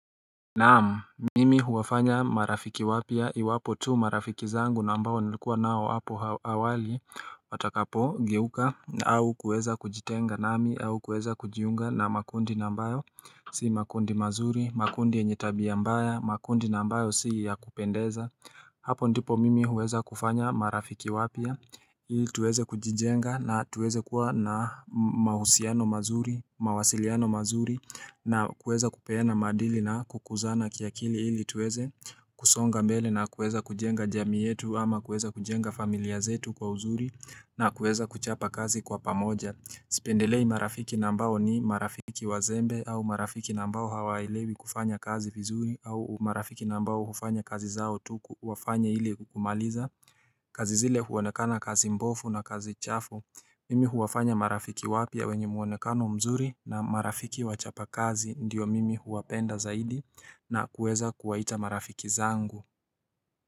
Naam, mimi huwafanya marafiki wapya iwapo tu marafiki zangu na ambao nilikuwa nao hapo awali watakapogeuka au kuweza kujitenga nami au kuweza kujiunga na makundi na ambayo Si makundi mazuri, makundi yenye tabia mbaya, makundi na ambayo si ya kupendeza Hapo ndipo mimi huweza kufanya marafiki wapya ili tuweze kujijenga na tuweze kuwa na mahusiano mazuri, mawasiliano mazuri na kuweza kupeana maadili na kukuzana kiakili ili tuweze kusonga mbele na kueza kujenga jamii yetu ama kueza kujenga familia zetu kwa uzuri na kueza kuchapa kazi kwa pamoja Sipendelei marafiki na ambao ni marafiki wazembe au marafiki na ambao hawaelewi kufanya kazi vizuri au marafiki na ambao hufanya kazi zao tu wafanye ili kumaliza kazi zile huonekana kazi mbovu na kazi chafu. Mimi huwafanya marafiki wapya wenye mwonekano mzuri na marafiki wachapa kazi ndiyo mimi huwapenda zaidi na kuweza kuwaita marafiki zangu.